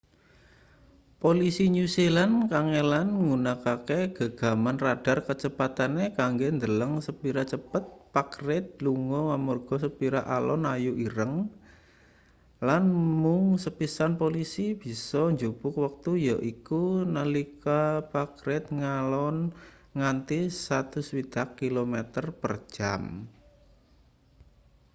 polisi new zealand kangelan nggunakake gegaman radar kecepatane kanggo ndeleng sepira cepet pak reid lunga amarga sepira alon ayu ireng lan mung sepisan polisi bisa njupuk wektu yaiku nalika pak reid ngalon nganti 160km / jam